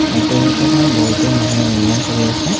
অট্টালিকাখন বহুটো মানুহে নিৰ্মাণ কৰি আছে।